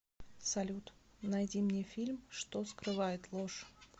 салют найди мне фильм что скрывает ложь